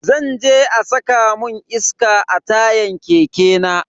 Zan je a saka mun iska a tayan keke na.